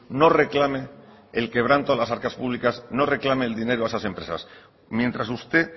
no reclame el quebranto a las arcas públicas no reclame el dinero a esas empresas mientras usted